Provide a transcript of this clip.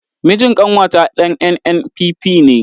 Mijin ƙanwata ɗan NNPP ne.